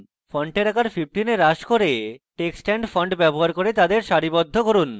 ফন্টের আকার 15 এ হ্রাস করুন এবং text and font বিকল্প ব্যবহার করে তাদের সারিবদ্ধ করুন